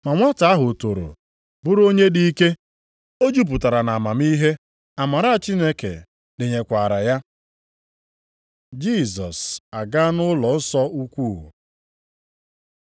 Ma nwata ahụ toro bụrụ onye dị ike; o jupụtara nʼamamihe, amara Chineke dịnyekwaara ya. Jisọs agaa nʼụlọnsọ ukwuu